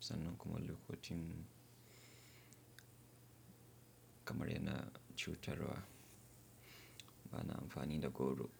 sannan kuma lokotin kamar yana cutarwa. Ba na amfani da goro.